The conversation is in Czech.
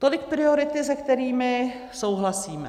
Tolik priority, se kterými souhlasíme.